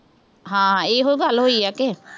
ਹਾਂ, ਇਹੋ ਗੱਲ ਹੋਈ ਆ ਕਿ